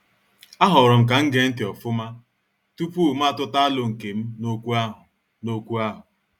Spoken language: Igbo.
A horom kam gee ntị ofuma tupu ma atuta alo nkem n' okwu ahụ. n' okwu ahụ.